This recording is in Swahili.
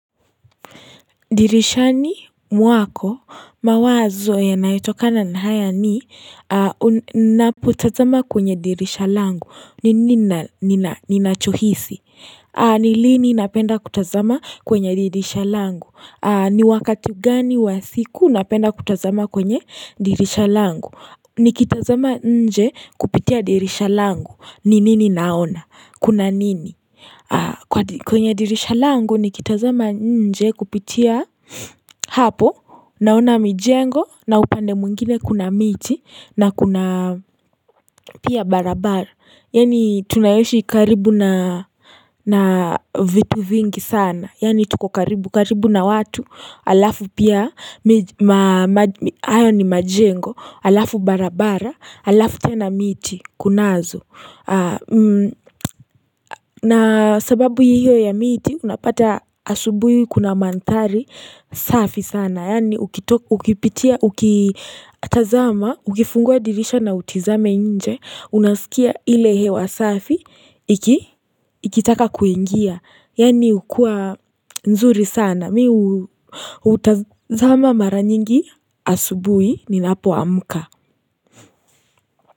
Dirishani mwako mawazo yanayotokana ni haya ni napotazama kwenye dirishalangu. Ni nachohisi. Ni lini napenda kutazama kwenye dirishalangu. Ni wakati gani wa siku napenda kutazama kwenye dirishalangu. Ni kitazama nje kupitia dirishalangu. Ni nini naona? Kuna nini? Kwenye dirisha langu ni kitazama nje kupitia hapo Naona mijengo na upande mwingine kuna miti na kuna pia barabara Yani tunayoishi karibu na vitu vingi sana Yani tuko karibu karibu na watu alafu pia ayo ni majengo Alafu barabara alafu tena miti kunazo na sababu hiyo ya miti unapata asubui kuna mandhari safi sana Yani ukipitia ukitazama ukifungua dirisha na utizame nje Unasikia ile hewa safi ikitaka kuingia Yani ukua nzuri sana Mi utazama mara nyingi asubui ninapo amuka.